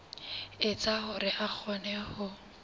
etsa hore a kgone ho